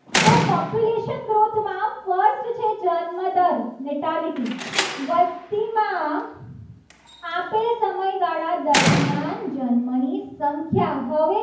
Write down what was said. કે જન્મદર વસ્તીમાં આપેલ સમયગાળા દરમિયાન જન્મની સંખ્યા